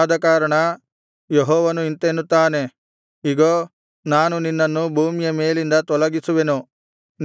ಆದಕಾರಣ ಯೆಹೋವನು ಇಂತೆನ್ನುತ್ತಾನೆ ಇಗೋ ನಾನು ನಿನ್ನನ್ನು ಭೂಮಿಯ ಮೇಲಿಂದ ತೊಲಗಿಸುವೆನು